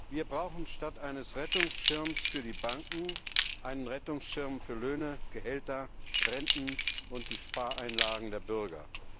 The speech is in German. Wir brauchen statt eines Rettungsschirms für die Banken einen Rettungsschirm für Löhne, Gehälter, Renten und die Spareinlagen der Bürger.